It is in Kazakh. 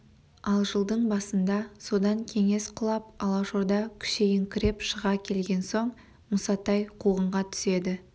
ал жылдың басында содан кеңес құлап алашорда күшейіңкіреп шыға келген соң мұсатай қуғынға түседі